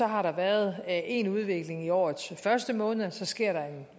har været én udvikling i årets første måneder og så sker der